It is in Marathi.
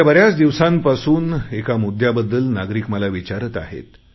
गेल्या बऱ्याच दिवसांपासून एका मुद्याबद्दल नागरिक मला विचारत आहेत